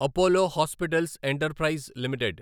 Apollo Hospitals Enterprise limited